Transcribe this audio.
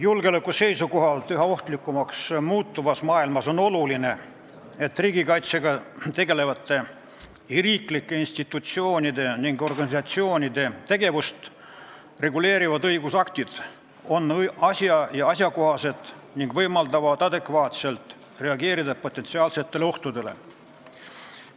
Julgeoleku seisukohalt üha ohtlikumaks muutuvas maailmas on oluline, et riigikaitsega tegelevate riiklike institutsioonide ja organisatsioonide tegevust reguleerivad õigusaktid on aja- ja asjakohased ning võimaldavad adekvaatselt reageerida potentsiaalsetele ohtudele.